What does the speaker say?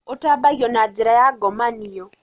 ũtambagio na njĩra ya ngomanio